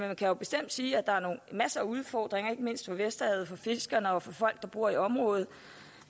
man kan jo bestemt sige at der er masser af udfordringer ikke mindst for vesterhavet for fiskerne og for folk der bor i området